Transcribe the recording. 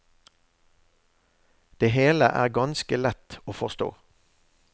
Det hele er ganske lett å forstå.